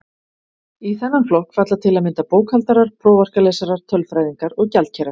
Í þennan flokk falla til að mynda bókhaldarar, prófarkalesarar, tölfræðingar og gjaldkerar.